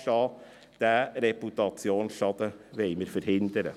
Diesen Reputationsschaden wollen wir verhindern.